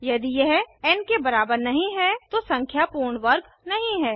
यदि यह एन के बराबर नहीं है तो संख्या पूर्ण वर्ग नहीं है